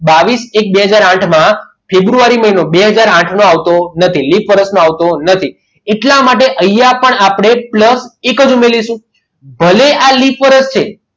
બાવીસ એક બે હાજર આઠ માં ફેબ્રુઆરી મહિનો ફેબ્રુઆરી મહિનો આવતો નથી લીપ વરસ આવતું નથી એટલા માટે તૈયાર પણ આપણે plus એક જ ઉમેરીશું ભલે આ લીપ વર્ષ છે.